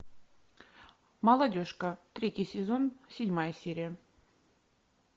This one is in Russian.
молодежка третий сезон седьмая серия